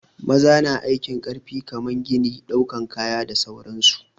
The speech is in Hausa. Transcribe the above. Maza na aikin ƙarfi kamar gini, ɗaukan kaya da sauran su.